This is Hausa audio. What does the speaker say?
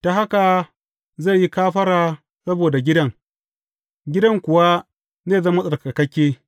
Ta haka zai yi kafara saboda gidan, gidan kuwa zai zama tsarkakakke.